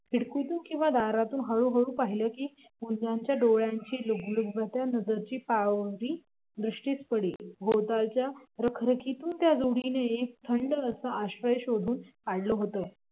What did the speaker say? खिडकीतून किंवा दारातून हळू हळू पाहिलं कि गुंजाच्या डोळ्याची लुकलुकत्या नजरेची पारवी दृष्टीस पडे भोवतालच्या रखरखींतून त्या जोडीनं एक थंड असा आश्रय शोधून काढला होता